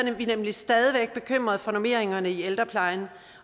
er vi nemlig stadig væk bekymrede for normeringerne i ældreplejen